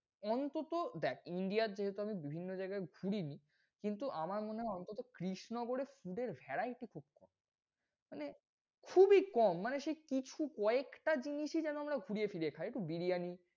অন্তত দেখ India যেহেতু আমি বিভিন্ন জায়গায় ঘুরি, কিন্তু আমার মনে হয় অন্তত কৃষনগরে food এর variety খুব কম মানে খুবই কম মানে সে কিছু কয়েকটা জিনিসই যেন আমরা ঘুরিয়ে ফিরিয়ে খাই। একটু বিরিয়ানি,